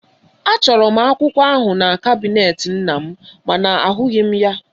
Achọrọ m akwụkwọ ahụ na kabinet nnam mana ahụghị m ya.